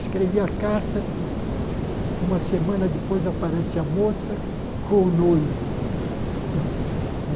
Escrevi a carta, uma semana depois aparece a moça com o noivo.